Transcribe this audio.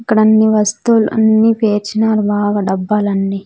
ఇక్కడన్ని వస్తువులు అన్ని పేర్చినారు బాగా డబ్బాలన్నీ.